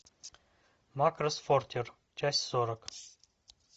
макросс фронтир часть сорок